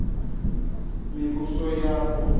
mivhusoyapo